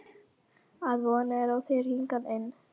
Að von er á þér hingað inn.